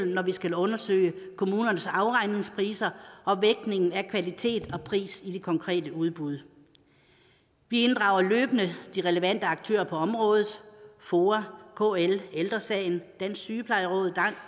når vi skal undersøge kommunernes afregningspriser og vægtningen af kvalitet og pris i de konkrete udbud vi inddrager løbende de relevante aktører på området foa kl ældre sagen dansk sygeplejeråd